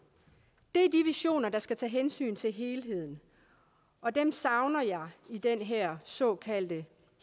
er de visioner der skal tage hensyn til helheden og dem savner jeg i den her såkaldte